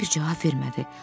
Tom bir cavab vermədi.